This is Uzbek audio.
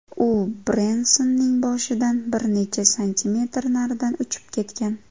U Brensonning boshidan bir necha santimetr naridan uchib ketgan.